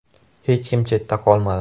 Hech kim chetda qolmadi.